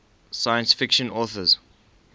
science fiction authors